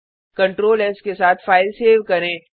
Ctrl S के साथ file save करें